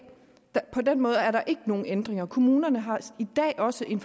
på den måde er der ikke nogen ændringer kommunerne har i dag også en